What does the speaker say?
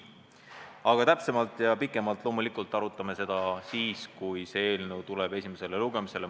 Aga täpsemalt ja pikemalt arutame seda loomulikult siis, kui eelnõu tuleb esimesele lugemisele.